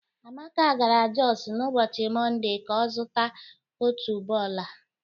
Amaka gara Jọs n'ụbọchị Mọnde ka ọ zụta otuboala.